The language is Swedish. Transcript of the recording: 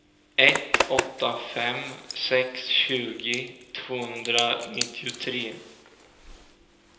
ett åtta fem sex tjugo tvåhundranittiotre